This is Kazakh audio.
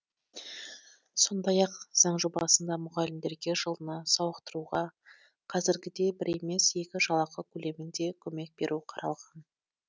сондай ақ заң жобасында мұғалімдерге жылына сауықтыруға қазіргідей бір емес екі жалақы көлемінде көмек беру қаралған